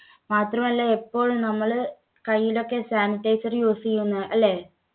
മാത്രമല്ല എപ്പോഴും നമ്മള് കയ്യിലൊക്കെ sanitizer use ചെയ്യുന്ന അല്ലേ?